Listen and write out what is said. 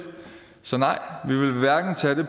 så nej vi vil hverken tage det